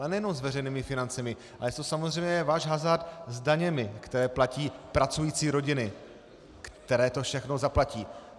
Ale nejenom s veřejnými financemi, ale je to samozřejmě váš hazard s daněmi, které platí pracující rodiny, které to všechno zaplatí.